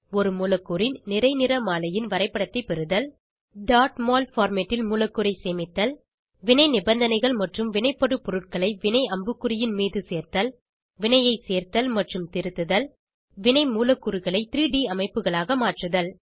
ஒரு மூலக்கூறின் நிறை நிறமாலையின் வரைப்படத்தை பெறுதல் mol பார்மேட் ல் மூலக்கூறை சேமித்தல் வினை நிபந்தனைகள் மற்றும் வினைப்படுபொருள்களை வினை அம்புக்குறியின் மீது சேர்த்தல் வினையை செர்த்தல் மற்றும் திருத்துதல் வினை மூலக்கூறுகளை 3ட் அமைப்புகளாக மாற்றுதல்